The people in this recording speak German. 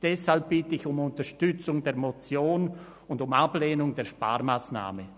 Deshalb bitte ich um Unterstützung der Motion und um Ablehnung der Sparmassnahme.